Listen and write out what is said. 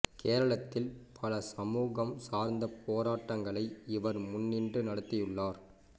கேரளத்தில் பல சமூகம் சார்ந்த போராட்டங்களை இவர் முன்னின்று நடத்தியுள்ளார்